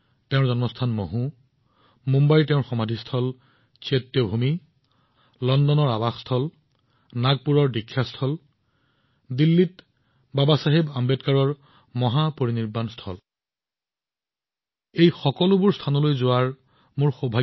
তেওঁৰ জন্মস্থান হওঁক মুম্বাইৰ মহু চৈত্যভূমি লণ্ডনত তেওঁৰ ঘৰ নাগপুৰৰ দীক্ষা ভূমি বা দিল্লীৰ বাবাচাহেবৰ মহাপৰিনিৰ্বাণ স্থান মই সকলো ঠাই ভ্ৰমণ কৰাৰ সৌভাগ্য লাভ কৰিছো সকলো তীৰ্থভূমিলৈ যোৱাৰ সুবিধা লাভ কৰিছো